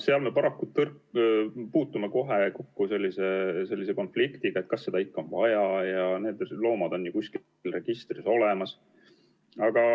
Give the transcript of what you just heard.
Me oleme paraku kokku puutunud konfliktiga sellel pinnal, kas seda ikka on vaja ja need loomad on ju kuskil registris olemas.